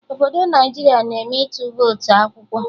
Obodo Naijiria na eme ịtụ votu akwụkwọ